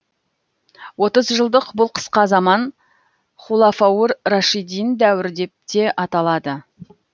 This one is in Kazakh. отыз жылдық бұл қысқа заман хулафаур рашидин дәуірі деп те аталады